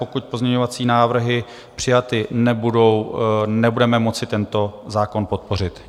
Pokud pozměňovací návrhy přijaty nebudou, nebudeme moci tento zákon podpořit.